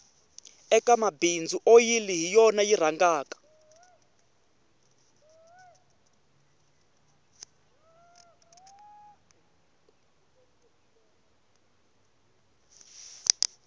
eka mabindzu oyili hi yona yi rhangaka